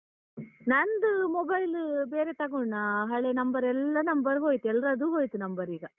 ನಂದು mobile ಬೇರೆ ತಗೊಂಡ್ನ ಹಳೇ number ಎಲ್ಲ number ಹೋಯ್ತು, ಎಲ್ರದೂ ಹೋಯ್ತು number ಈಗ.